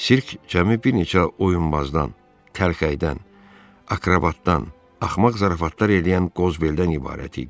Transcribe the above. Sirk cəmi bir neçə oyunbazdan, təlxəydən, akrobatdan, axmaq zarafatlar eləyən Qozbel-dən ibarət idi.